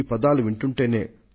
మహిళా fighter pilot లు